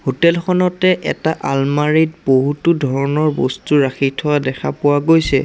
হোটেলখনতে এটা আলমাৰিত বহুতো ধৰনৰ বস্তু ৰাখি থোৱা দেখা পোৱা গৈছে।